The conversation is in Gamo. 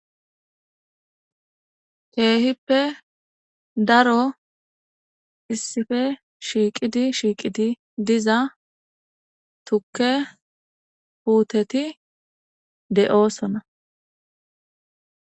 Kehippe daro issippe shiqidi shiqidi diza tukke putteti diza deo'sona